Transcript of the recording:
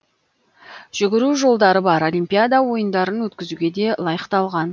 жүгіру жолдары бар олимпиада ойындарын өткізуге де лайықталған